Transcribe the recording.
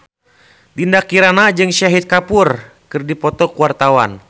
Dinda Kirana jeung Shahid Kapoor keur dipoto ku wartawan